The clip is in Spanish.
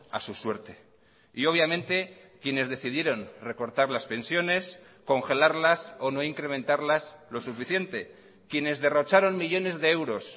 a su suerte y obviamente quienes decidieron recortar las pensiones congelarlas o no incrementarlas lo suficiente quienes derrocharon millónes de euros